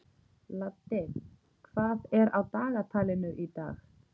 Laddi, hvað er á dagatalinu í dag?